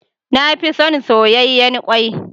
Na fi son soyayyen kwai.